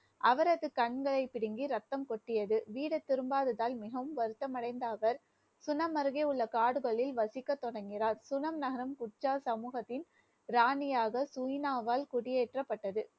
அவரது கண்களை பிடுங்கி ரத்தம் கொட்டியது, வீடு திரும்பாததால் மிகவும் வருத்தம் அடைந்த அவர் சுனம் அருகே உள்ள காடுகளில் வசிக்க தொடங்கினார், சுனம் நகரம் சமூகத்தின், ராணியாக சுனினாவால் குடியேற்றப்பட்டது